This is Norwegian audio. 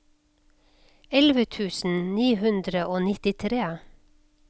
elleve tusen ni hundre og nittitre